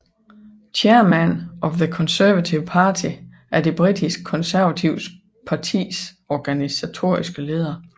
Chairman of the Conservative Party er det britiske konservative partis organisatoriske leder